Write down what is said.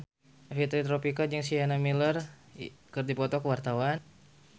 Fitri Tropika jeung Sienna Miller keur dipoto ku wartawan